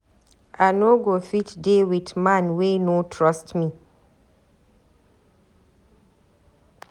I no go fit dey with man wey no trust me.